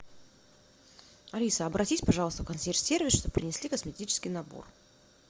алиса обратись пожалуйста в консьерж сервис чтобы принесли косметический набор